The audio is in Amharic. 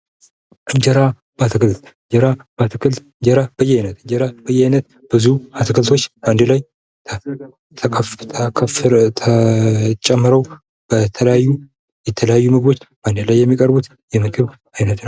እንጀራ በአትክልት እንጀራ በያይነት ብዙ አትክልቶች አንድ ላይ ተጨምረው በተለያዩ አንድ ላይ የሚቀርቡት የምግብ አይነት ነው ።